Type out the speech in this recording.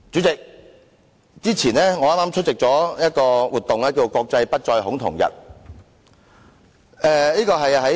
代理主席，我於5月17日出席了"國際不再恐同日"活動。